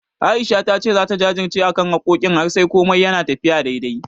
A'isha ta ce zata jajirce akan harkokin har sai komai yana tafiya daidai.